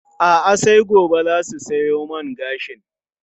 A'a, sai gobe za su siyo man gashin.